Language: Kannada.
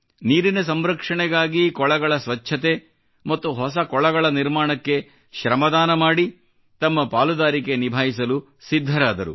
ನೀರಿನ ಸಂರಕ್ಷಣೆಗಾಗಿ ಕೊಳಗಳ ಸ್ವಚ್ಛತೆ ಮತ್ತು ಹೊಸ ಕೊಳಗಳ ನಿರ್ಮಾಣಕ್ಕೆ ಶ್ರಮದಾನ ಮಾಡಿ ತಮ್ಮ ಪಾಲುದಾರಿಕೆ ನಿಭಾಯಿಸಲು ಸಿದ್ಧರಾದರು